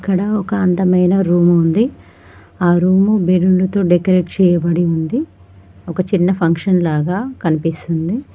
ఇక్కడ ఒక అందమైన రూము ఉంది ఆ రూము బెలూన్లతో డెకరేట్ చేయబడి ఉంది ఒక చిన్న ఫంక్షన్ లాగా కన్పిస్తుంది.